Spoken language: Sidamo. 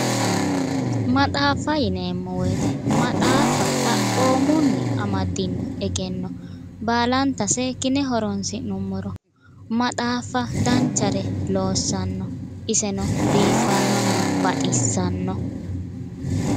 maxaaffa yineemmo wote maxaaffa xaphoomunni anmaddino egenno baalanta seekkine horonsi'nummoro maxaaffa danchare loossanno iseno biiffannonna baxissanno.